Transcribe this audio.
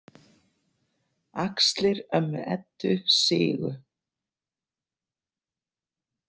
Axlir ömmu Eddu sigu.